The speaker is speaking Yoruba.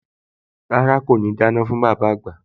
Rárá, kò ní dáná fún bàbá àgbà